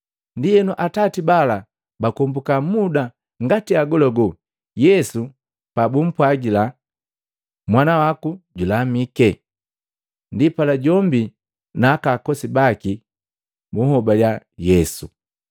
Ndienu atati bala bakombuka muda ngati agolagola Yesu pabumpwajila, “Mwana waku julamike.” Ndipala jombi na akakosi baki buhobaliya Yesu.